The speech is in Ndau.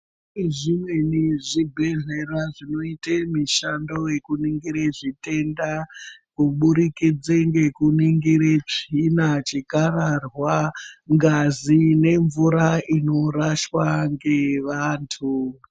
Kune zvimweni zvibhedhlera zvinoita mushando nekuningira zvitenda kuburikidza ngekuningire tsvina chikararwa ngazi nemvura inoraswa ngevantu.